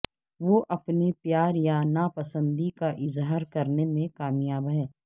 وہ اپنے پیار یا ناپسندی کا اظہار کرنے میں کامیاب ہیں